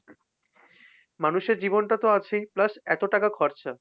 মানুষের জীবনটা তো আছেই plus এত টাকা খরচা।